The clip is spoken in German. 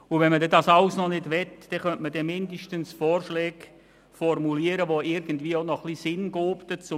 Wenn man all das nicht möchte, könnte man schliesslich jedoch Vorschläge formulieren, welche Sinn ergeben.